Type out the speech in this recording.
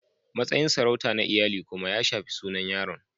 Matsayin sarauta na iyali kuma ya shafi sunan yaron)